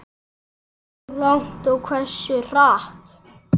Hversu langt og hversu hratt.